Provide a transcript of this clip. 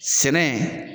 Sɛnɛ